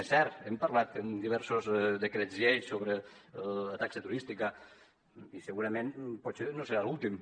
és cert hem parlat en diversos decrets llei sobre la taxa turística i segurament potser no serà l’últim